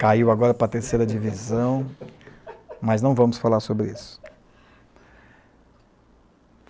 Caiu agora para a terceira divisão, mas não vamos falar sobre isso.